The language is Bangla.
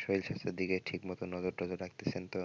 শরীর স্বাস্থ্যের দিকে ঠিকমতো নজর টজর রাখতেছেন তো?